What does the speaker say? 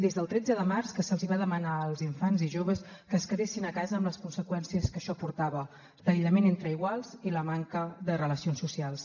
des del tretze de març que se’ls va demanar als infants i joves que es quedessin a casa amb les conseqüències que això portava l’aïllament entre iguals i la manca de relacions socials